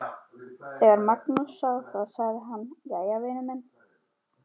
Þegar Magnús sá það sagði hann: Jæja, vinur minn.